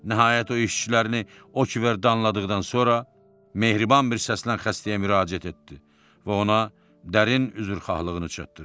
Nəhayət o işçilərini o qədər danladıqdan sonra mehriban bir səslə xəstəyə müraciət etdi və ona dərin üzrxahlığını çatdırdı.